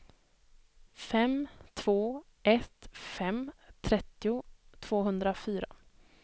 fem två ett fem trettio tvåhundrafyra